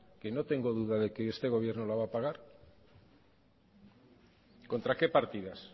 que no tengo duda de que este gobierno lo va a pagar contra qué partidas